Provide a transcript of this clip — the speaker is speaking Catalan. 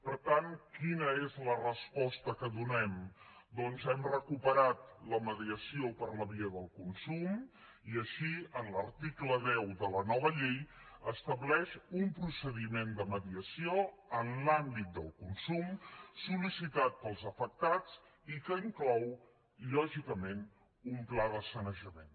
per tant quina és la resposta que donem doncs hem recuperat la mediació per la via del consum i així l’article deu de la nova llei estableix un procediment de mediació en l’àmbit del consum sol·licitat pels afectats i que inclou lògicament un pla de sanejament